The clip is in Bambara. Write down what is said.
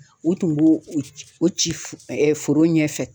U tun b'o o ci foro ɲɛfɛ.